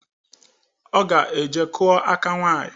Ọ ga-eje kụọ aka nwanyị.